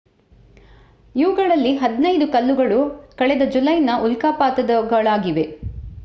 ಇವುಗಳಲ್ಲಿ ಹದಿನೈದು ಕಲ್ಲುಗಳು ಕಳೆದ ಜುಲೈನ ಉಲ್ಕಾಪಾತದವುಗಳಾಗಿದೆ